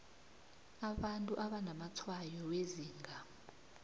abantu abanamatshwayo wezinga